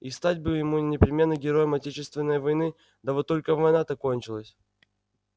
и стать бы ему непременно героем отечественной войны да вот только война-то кончилась